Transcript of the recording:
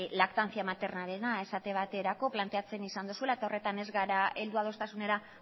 lactancia materna rena esate baterako planteatzen izan duzula eta horretan ez gara heldu adostasunera